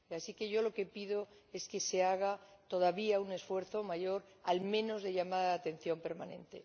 Así que yo lo que pido es que se haga todavía un esfuerzo mayor, al menos de llamada de atención permanente.